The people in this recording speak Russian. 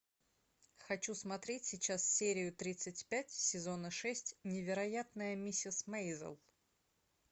хочу смотреть сейчас серию тридцать пять сезона шесть невероятная миссис мейзел